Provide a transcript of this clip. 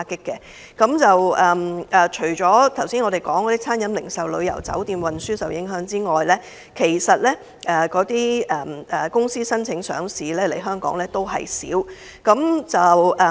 除了我們剛才提及的餐飲、零售、旅遊、酒店及運輸行業受到影響，來港申請上市的公司亦有所減少。